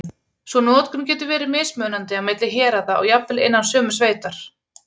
Sú notkun getur verið mismunandi á milli héraða og jafnvel innan sömu sveitar.